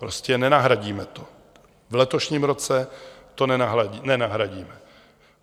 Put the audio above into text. Prostě nenahradíme to, v letošním roce to nenahradíme.